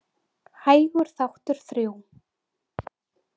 Hægur þáttur III.